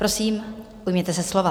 Prosím, ujměte se slova.